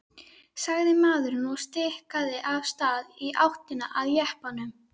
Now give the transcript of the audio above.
sagði maðurinn og stikaði af stað í áttina að jeppanum.